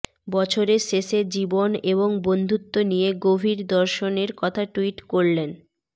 বছরের শেষে জীবন এবং বন্ধুত্ব নিয়ে গভীর দর্শনের কথা টুইট করলেন